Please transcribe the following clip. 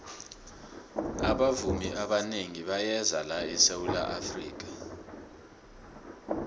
abavumi abanengi bayeza la esawula afrika